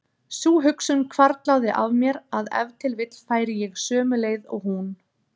Sú hugsun hvarflaði að mér að ef til vill færi ég sömu leið og hún.